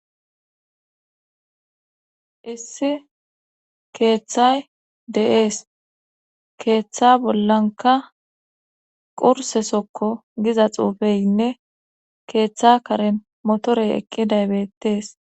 issi keeththay de7ees keeththa bollanka qursesokko giza xuufeynne keeththa kare motorey eqqiday bettees